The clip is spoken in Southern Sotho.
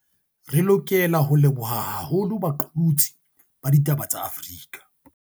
Re lokela ho leboha haholo baqolotsi ba ditaba ba Afrika